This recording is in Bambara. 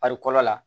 la